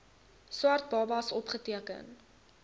swart babas opgeteken